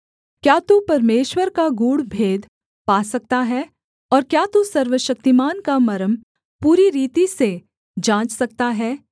क्या तू परमेश्वर का गूढ़ भेद पा सकता है और क्या तू सर्वशक्तिमान का मर्म पूरी रीति से जाँच सकता है